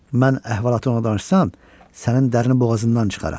Mən əhvalatı ona danışsam, sənin dərin boğazından çıxarar.